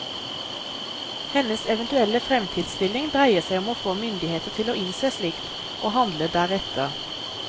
Hennes eventuelle fremtidsstilling dreier seg om å få myndigheter til å innse slikt, og handle deretter.